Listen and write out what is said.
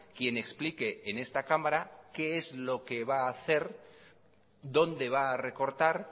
quien explique en esta cámara qué es lo que va a hacer dónde va a recortar